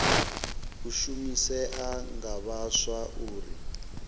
u shumisea nga vhaswa uri